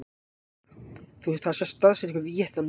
þar sést staðsetning víetnam mjög vel